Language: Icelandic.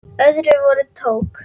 Öðru hvoru tók